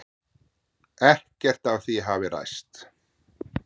Ekkert af því hafi ræst.